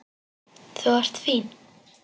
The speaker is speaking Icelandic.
Þú ert fín.